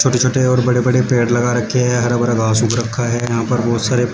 छोटे छोटे और बड़े बड़े पेड़ लगा रखे हैं हरा भरा घास उग रखा है यहां पर बहुत सारे--